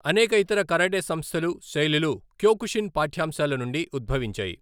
అనేక ఇతర కరాటే సంస్థలు, శైలులు క్యోకుషిన్ పాఠ్యాంశాల నుండి ఉద్భవించాయి.